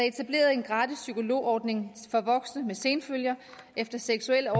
etableret en gratis psykologordning for voksne med senfølger efter seksuelle